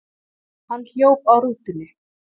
Hann hljóp að rútunni.